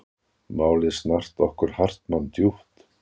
Málið snart okkur Hartmann djúpt.